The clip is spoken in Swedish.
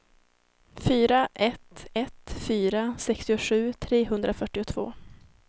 fyra ett ett fyra sextiosju trehundrafyrtioåtta